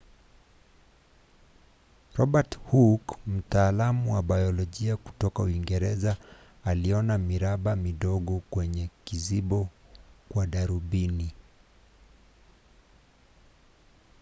robert hooke mtaalamu wa biolojia kutoka uingereza aliona miraba midogo kwenye kizibo kwa darubini